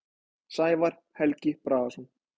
Sævar Helgi Bragason.